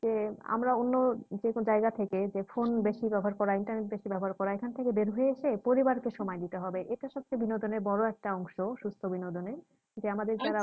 যে আমরা অন্য যে কোন জায়গা থেকে যে phone বেশি ব্যাবহার করা internet বেশি ব্যবহার করা এখান থেকে বের হয়ে এসে পরিবারকে সময় দিতে হবে এটা সবথেকে বিনোদনের বড় একটা অংশ সুস্থ বিনোদনের যে আমাদের